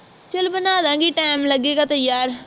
ਚੱਲ ਬਣਾ ਦਾਂਗੀ time ਲਗੇਗਾ ਤਾਂ ਯਾਰ